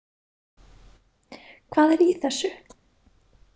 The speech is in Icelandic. Hvað er í þessu?